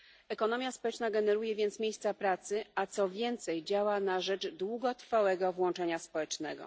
Ekonomia społeczna generuje więc miejsca pracy, a co więcej, działa na rzecz długotrwałego włączenia społecznego.